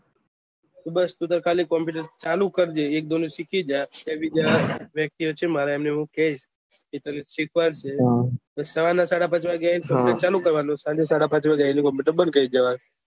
તો બસ ટુ ખાલી કોમ્પુટર ચાલુ કરજે એકદમ સીખી જાય એક ફ્રી બીજા વ્યક્તિયો છે મારા અમને હું કયીશ કે તને સીખ્વાદશેય તો સવા નો સાડા પાંચ વાગે આયીસ તો કોમ્પુટર ચાલુ કરવાનું અને સાંજે સાડા પાંચ આયીને કોમ્પુટર બંદ કરી દેવાનું